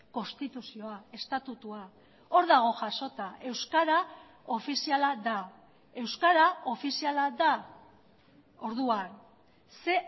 konstituzioa estatutua hor dago jasota euskara ofiziala da euskara ofiziala da orduan ze